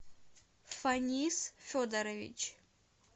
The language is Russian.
фанис федорович